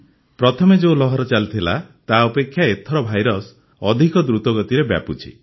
ପ୍ରଥମେ ଯେଉଁ ଲହର ଚାଲିଥିଲା ତା ଅପେକ୍ଷା ଏଥର ଭାଇରସ ଅଧିକ ଦ୍ରୁତ ଗତିରେ ବ୍ୟାପୁଛି